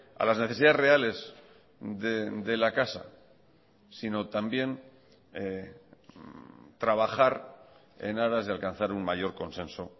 a las necesidades reales de la casa sino también trabajar en aras de alcanzar un mayor consenso